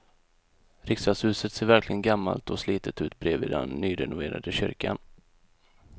Riksdagshuset ser verkligen gammalt och slitet ut bredvid den nyrenoverade kyrkan.